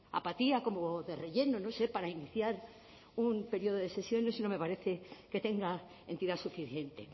apatía como de relleno no sé para iniciar un periodo de sesiones no me parece que tenga entidad suficiente